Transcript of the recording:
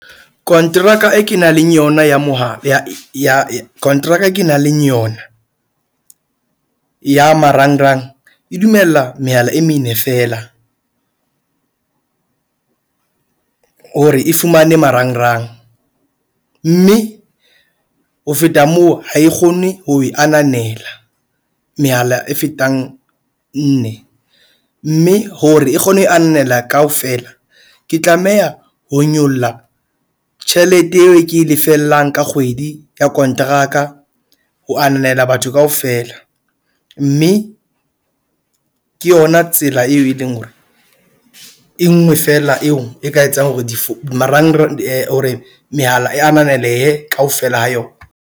Kontraka e kenang le yona ya mohala ya ya kontraka e ke nang le yona ya marangrang e dumella mehala e mene feela, hore e fumane marangrang, mme ho feta moo, ha e kgone ho e ananela mehala e fetang nne. Mme hore e kgone ho e anela kaofela. Ke tlameha ho nyolla tjhelete eo e ke e lefellang ka kgwedi ya kontraka ho ananela batho kaofela. Mme ke yona tsela eo e leng hore e nngwe fela, eo e ka etsang hore di marangrang hore mehala e ananele kaofela ha yona.